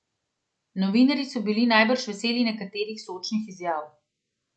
Novinarji so bili najbrž veseli nekaterih sočnih izjav ...